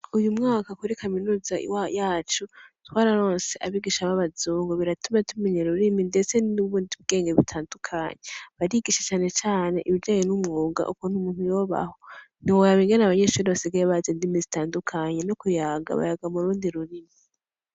Uyu mwaka kuri kaminuza yacu, twararonse abigisha b'abazungu. Biratuma tumenya ururimi ndetse n'ubundi bwenge butandukanye. Barigisha cane cane ibijanye n'umwuga, ukuntu umuntu yobaho. Ntiworaba ingene abanyeshure basigaye bazi indimi zitandukanye, no mu kuyaga bayaga mu rundi rurimi.